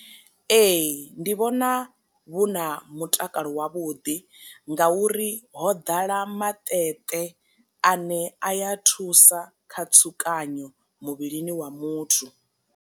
Ee ndi vhona vhu na mutakalo wavhuḓi nga uri ho ḓala maṱeṱe ane a ya thusa kha tsukanyo muvhilini wa muthu.